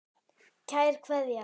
Kær Kveðja.